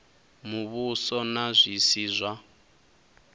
muvhuso na zwi si zwa